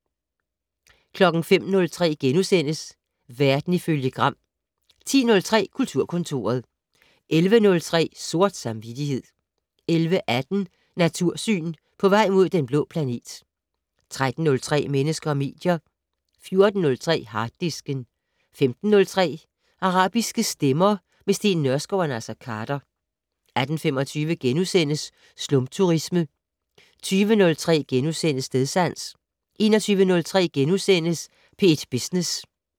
05:03: Verden ifølge Gram * 10:03: Kulturkontoret 11:03: Sort samvittighed 11:18: Natursyn: På vej mod Den Blå Planet 13:03: Mennesker og medier 14:03: Harddisken 15:03: Arabiske stemmer - med Steen Nørskov og Naser Khader 18:25: Slumturisme * 20:03: Stedsans * 21:03: P1 Business *